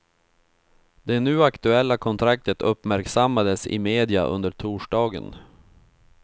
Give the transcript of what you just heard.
Det nu aktuella kontraktet uppmärksammades i media under torsdagen.